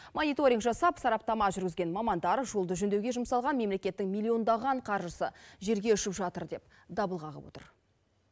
мониторинг жасап сараптама жүргізген мамандар жолды жөндеуге жұмсалған мемлекеттің миллиондаған қаржысы желге ұшып жатыр деп дабыл қағып отыр